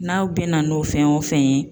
N'aw bɛna n'o fɛn o fɛn ye